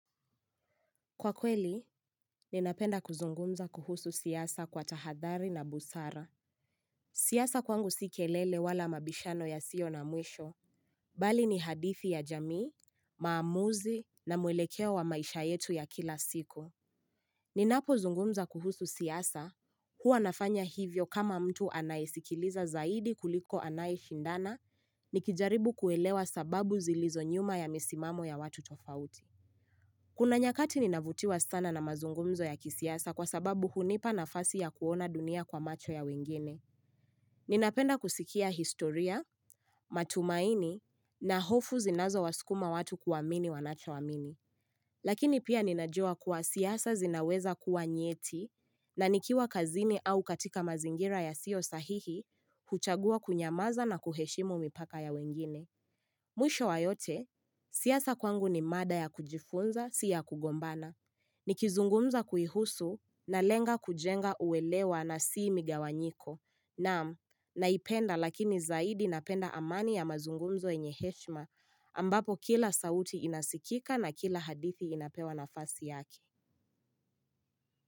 Kwa kweli, ninapenda kuzungumza kuhusu siyasa kwa tahadhari na busara. Siasa kwangu si kelele wala mabishano yasio na mwisho. Mbali ni hadithi ya jamii, maamuzi na muelekeo wa maisha yetu ya kila siku. Ninapozungumza kuhusu siasa, huwa nafanya hivyo kama mtu anayesikiliza zaidi kuliko anayeshindana, nikijaribu kuelewa sababu zilizo nyuma ya misimamo ya watu tofauti. Kuna nyakati ninavutiwa sana na mazungumzo ya kisiasa kwa sababu hunipa nafasi ya kuona dunia kwa macho ya wengine. Ninapenda kusikia historia, matumaini na hofu zinazowasukuma watu kuamini wanachoamini. Lakini pia ninajua kuwa siasa zinaweza kuwa nyeti na nikiwa kazini au katika mazingira yasio sahihi huchagua kunyamaza na kuheshimu mipaka ya wengine. Mwisho wa yote, siasa kwangu ni mada ya kujifunza si yakugombana. Nikizungumza kuihusu nalenga kujenga uelewa na si migawanyiko. Naam, naipenda lakini zaidi napenda amani ya mazungumzo yenye heshima ambapo kila sauti inasikika na kila hadithi inapewa nafasi yake.